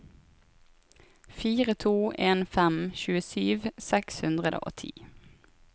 fire to en fem tjuesju seks hundre og ti